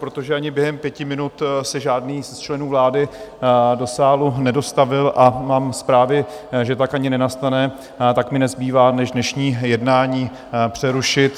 Protože ani během pěti minut se žádný z členů vlády do sálu nedostavil, a mám zprávy, že tak ani nenastane, tak mi nezbývá než dnešní jednání přerušit.